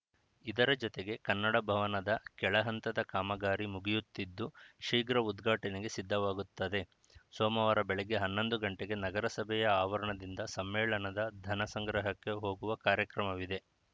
ಇದರ ಜೊತೆಗೆ ಕನ್ನಡ ಭವನದ ಕೆಳಹಂತದ ಕಾಮಗಾರಿ ಮುಗಿಯುತ್ತಿದ್ದು ಶೀಘ್ರ ಉದ್ಘಾಟನೆಗೆ ಸಿದ್ಧವಾಗುತ್ತದೆ ಸೋಮವಾರ ಬೆಳಗ್ಗೆ ಹನ್ನೊಂದು ಗಂಟೆಗೆ ನಗರಸಭೆಯ ಆವರಣದಿಂದ ಸಮ್ಮೇಳನದ ಧನ ಸಂಗ್ರಹಕ್ಕೆ ಹೋಗುವ ಕಾರ್ಯಕ್ರಮವಿದೆ